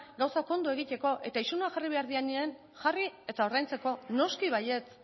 gauzak ondo egiteko eta isunak jarri behar direnean jarri eta ordaintzeko noski baietz